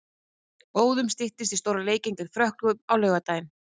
Óðum styttist í stóra leikinn gegn Frökkum á laugardaginn.